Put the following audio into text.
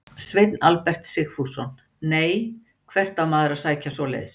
Sveinn Albert Sigfússon: Nei, hvert á maður að sækja svoleiðis?